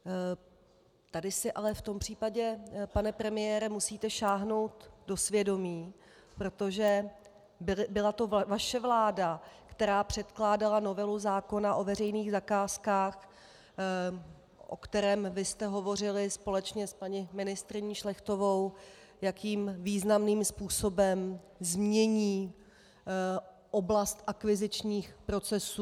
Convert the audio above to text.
Tady si ale v tom případě, pane premiére, musíte sáhnout do svědomí, protože byla to vaše vláda, která předkládala novelu zákona o veřejných zakázkách, o kterém vy jste hovořili společně s paní ministryní Šlechtovou, jakým významným způsobem změní oblast akvizičních procesů.